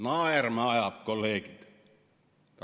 Naerma ajab, kolleegid!